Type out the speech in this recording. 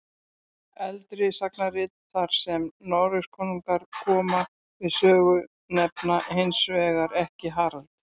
Eldri sagnarit þar sem Noregskonungar koma við sögu nefna hins vegar ekki Harald.